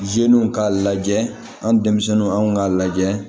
zenelw k'a lajɛ an denmisɛnninw anw k'a lajɛ